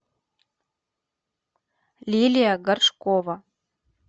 лилия горшкова